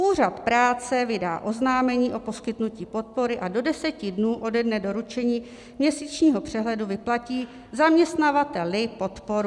Úřad práce vydá oznámení o poskytnutí podpory a do deseti dnů ode dne doručení měsíčního přehledu vyplatí zaměstnavateli podporu.